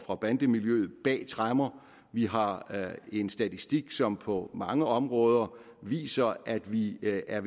og bandemiljøet bag tremmer vi har en statistik som på mange områder viser at vi er